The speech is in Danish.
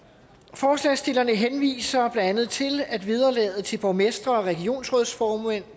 forslagsstillerne henviser andet til at vederlaget til borgmestre og regionsrådsformænd